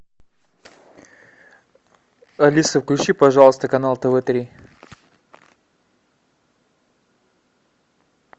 алиса включи пожалуйста канал тв три